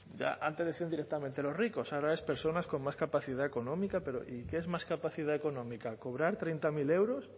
antes decían directamente los ricos ahora es personas con más capacidad económica pero y qué es más capacidad económica cobrar treinta mil euros